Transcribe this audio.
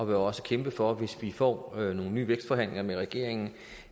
vi også kæmpe for hvis vi får nogle nye vækstforhandlinger med regeringen